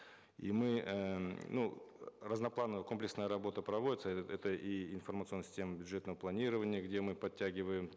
и мы эээ ну разноплановая комплексная работа проводится это и информационная система бюджетного планирования где мы подтягиваем